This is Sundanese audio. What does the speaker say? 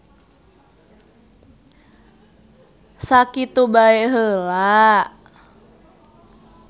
Sakitu bae heula.